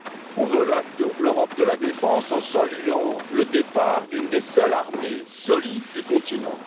On veut l'Europe de la défense en saluant le départ d'une des seules armées solides du continent.